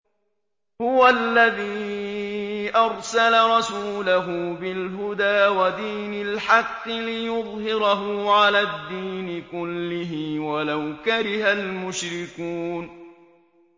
هُوَ الَّذِي أَرْسَلَ رَسُولَهُ بِالْهُدَىٰ وَدِينِ الْحَقِّ لِيُظْهِرَهُ عَلَى الدِّينِ كُلِّهِ وَلَوْ كَرِهَ الْمُشْرِكُونَ